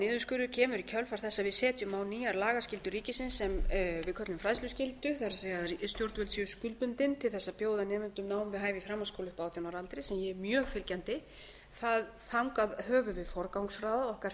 niðurskurður kemur í kjölfar þess að við setjum á nýja lagaskyldu ríkisins sem við köllum fræðsluskyldu það er að stjórnvöld séu skuldbundin til þess að bjóða nemendum nám við hæfi í framhaldsskóla upp að átján ára aldri sem ég er mjög fylgjandi þangað höfum við forgangsraðað okkar